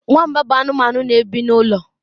Nwamba bụ anụmanụ na-ebi n'ụlọ.